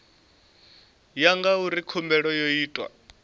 ya ngauri khumbelo yo itwa